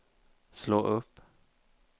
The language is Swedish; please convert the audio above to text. slå upp